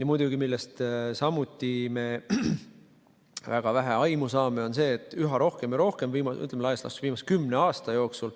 Ja muidugi see, millest samuti meil väga vähe aimu on, on see, et üha rohkem ja rohkem laias laastus viimase kümne aasta jooksul